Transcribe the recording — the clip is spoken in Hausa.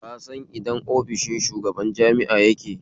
Ka san idan ofishin shugaban jami'a yake?